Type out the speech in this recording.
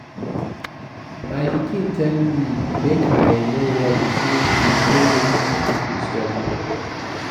My pikin tell me make I no worry say she know wetin she go study.